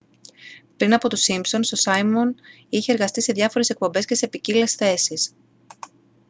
πριν από τους σίμπσονς ο σάιμον είχε εργαστεί σε διάφορες εκπομπές και σε ποικίλες θέσεις